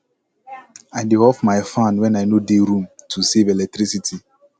i dey off my fan when i no dey room to save electricity